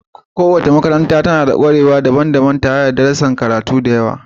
Kowace makaranta tana da ƙwarewa daban-daban tare da darussan karatu da yawa.